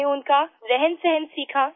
हमने उनका रहनसहन सीखा